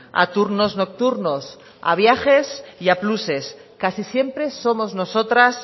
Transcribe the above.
a turnos nocturnos a viajes y a pluses casi siempre somos nosotras